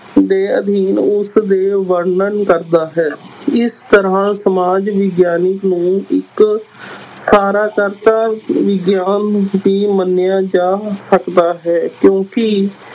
ਦੇ ਅਧਿਐਨ ਉਸਦੇ ਵਰਣਨ ਕਰਦਾ ਹੈ, ਇਸ ਤਰ੍ਹਾਂ ਸਮਾਜ ਵਿਗਆਨਕ ਨੂੰ ਇਕ ਵਿਗਿਆਨ ਵੀ ਮੰਨਿਆ ਜਾ ਸਕਦਾ ਹੈ ਕਿਉਂਕਿ